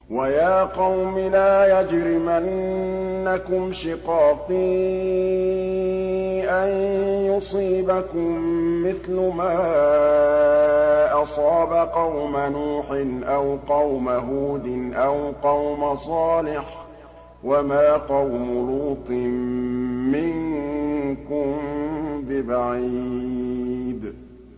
وَيَا قَوْمِ لَا يَجْرِمَنَّكُمْ شِقَاقِي أَن يُصِيبَكُم مِّثْلُ مَا أَصَابَ قَوْمَ نُوحٍ أَوْ قَوْمَ هُودٍ أَوْ قَوْمَ صَالِحٍ ۚ وَمَا قَوْمُ لُوطٍ مِّنكُم بِبَعِيدٍ